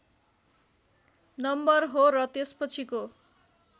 number हो र त्यसपछिको